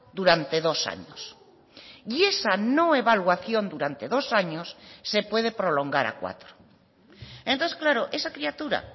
durante dos años y esa no evaluación durante dos años se puede prolongar a cuatro entonces claro esa criatura